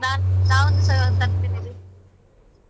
ನಾನ್ ನಾವೊಂದುಸಲ .